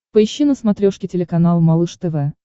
поищи на смотрешке телеканал малыш тв